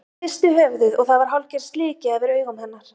Hún hristi höfuðið og það var hálfgerð slikja yfir augum hennar.